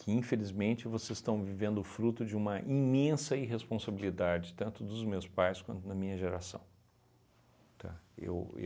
que infelizmente vocês estão vivendo o fruto de uma imensa irresponsabilidade, tanto dos meus pais quanto da minha geração, tá, eu